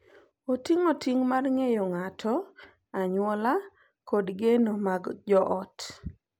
Oting’o ting’ mar ng’eyo ng’ato, anyuola, kod geno mag joot.